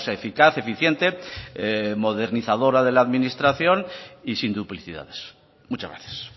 eficaz eficiente modernizadora de la administración y sin duplicidades muchas gracias